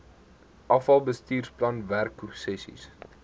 afal bestuursplan werksessies